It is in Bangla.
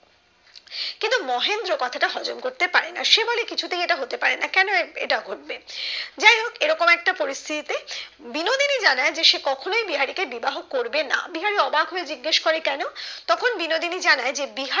কিন্তু মহেন্দ্র কথাটা হজম করতে পারে না সে বলে কিছুতেই এটা হতে পারে না কেন এটা ঘটবে যাই হোক এরকম একটা পরিস্থিতি তে বিনোদিনী জানায় যে সে কখনোই বিহারি কে বিবাহ করবে না বিহারি অবাক হয়ে জিজ্ঞাসা করে কেন তখন বিনোদিনী জানায় যে